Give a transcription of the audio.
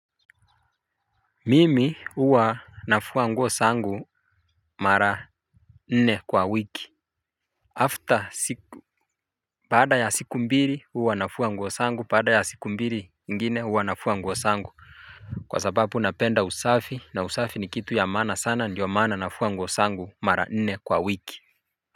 Mimi huwa nafua nguo zangu mara nne kwa wiki After siku baada ya siku mbili huwa nafua nguo zangu, baada ya siku mbili ingine huwa nafua nguo zangu. Kwa sababu napenda usafi na usafi ni kitu ya maana sana, ndiyo maana nafua nguo zangu mara nne kwa wiki.